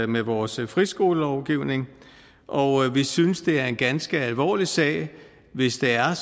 med vores friskolelovgivning og vi synes det er en ganske alvorlig sag hvis det er